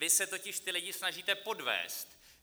Vy se totiž ty lidi snažíte podvést.